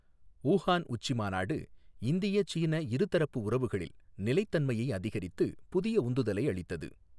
Wuhan உச்சிமாநாடு இந்திய சீன இருதரப்பு உறவுகளில் நிலைத்தன்மையை அதிகரித்து, புதிய உந்துதலை அளித்தது